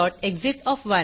systemएक्सिट